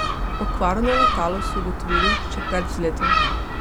Okvaro na letalu so ugotovili še pred vzletom.